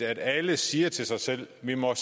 at alle siger til sig selv vi må